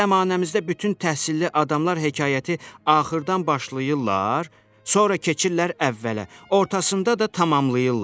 Bizim zəmanəmizdə bütün təhsilli adamlar hekayəti axırdan başlayırlar, sonra keçirlər əvvələ, ortasında da tamamlayırlar.